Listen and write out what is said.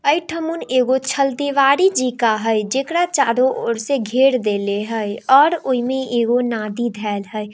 आई थोमान एगो छल दीवारी जी का है जेकरा चारो ओर से घेर देले हाई और ओइमे एगो नाडी धइल है।